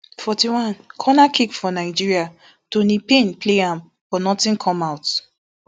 forty-one corner kick for nigeria toni payne play am but notin come out